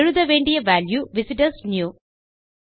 எழுத வேண்டிய வால்யூ விசிட்டர்ஸ்னியூ